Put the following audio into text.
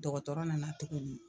Dɔgɔtɔrɔ nana tuguni